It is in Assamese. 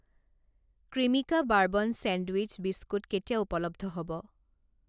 ক্ৰিমিকা বাৰ্বন ছেণ্ডউইচ বিস্কুট কেতিয়া উপলব্ধ হ'ব?